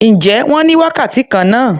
Ǹjẹ́ wọ́n ní wákàtí kan náà?